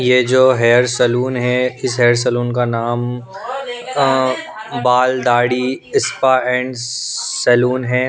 ये जो hair salon है इस हेयर सलून का नाम Baal Dadhi spa and salon है।